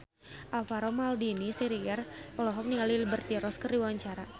Alvaro Maldini Siregar olohok ningali Liberty Ross keur diwawancara